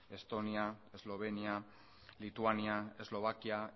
estonia eslovenia lituania eslovakia